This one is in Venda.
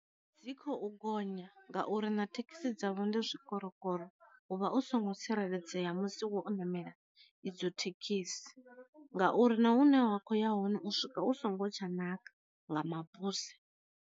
Dzi kho u gonya ngauri na thekhisi dzavho ndi zwi korokoro u vha u songo tsireledzea musi wo ṋamela idzo thekhisi, ngauri na hune wa kho ya hone u swika u songo tsha ṋaka nga mabuse.